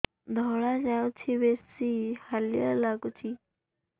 ଧଳା ଯାଉଛି ବେଶି ହାଲିଆ ଲାଗୁଚି